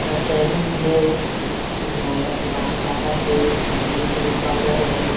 ऐ सैलून हे जे लड़का के बाल काटत थे बगल में क्रीम पाउडर हे।